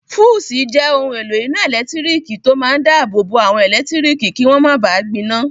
Fúùsì jẹ́ ohun èlò iná ẹ̀lẹ́tírík tó máa n dáàbò bo àwọn ẹlẹtíríkì kí wọ́n máa ba gbiná